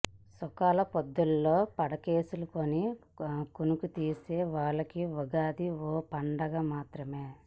సుఖాల పొద్దుల్లో పడకేసుకుని కునుకుతీసే వాళ్లకి ఉగాది ఓ పండగ మాత్రమే